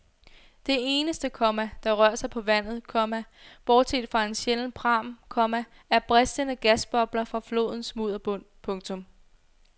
Det eneste, komma der rører sig på vandet, komma bortset fra en sjælden pram, komma er bristende gasbobler fra flodens mudderbund. punktum